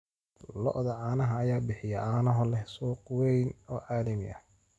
Lo'da caanaha ayaa bixiya caano leh suuq weyn oo caalami ah.